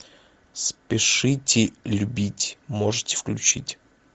спешите любить можете включить